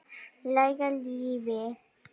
Læra lífið.